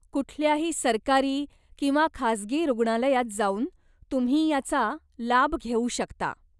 कुठल्याही सरकारी किंवा खासगी रुग्णालयात जाऊन तुम्ही याचा लाभ घेऊ शकता.